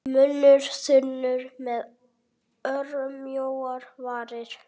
Munnur þunnur með örmjóar varir.